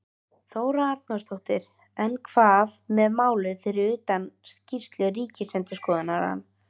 Þóra Arnórsdóttir: En hvað með málið fyrir utan skýrslu ríkisendurskoðunar?